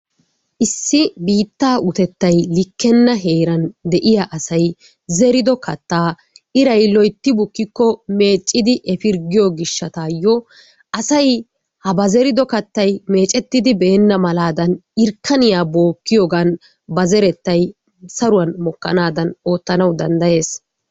Issi biittaa utettay likkenna heeran de'iya asay zerido kattaa iray loytti bukkiko meeccidi efirggiyo gishshataayoo asay ha ba zerido kattay meeccettidi beenna malaadan irkaniya bookkiyogan ba zerettay saruwan mokanaadan oottanawu dandayees.